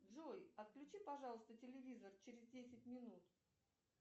джой отключи пожалуйста телевизор через десять минут